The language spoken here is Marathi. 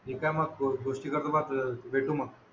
इथं मग गोष्टीचा प्रवास भेटू मग